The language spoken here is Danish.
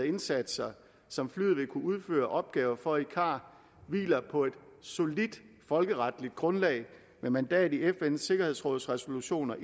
indsatser som flyet vil kunne udføre opgaver for i car hviler på et solidt folkeretligt grundlag med mandat i fns sikkerhedsråds resolutioner